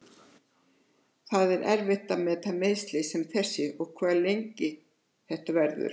Það er erfitt að meta meiðsli sem þessi og hve lengi þetta verður.